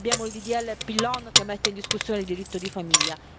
Abbiamo il Ddl Pillon che mette in discussione il diritto di famiglia.